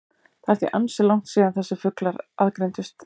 Það er því ansi langt síðan þessir fuglar aðgreindust.